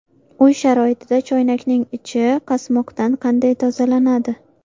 Uy sharoitida choynakning ichi qasmoqdan qanday tozalanadi?.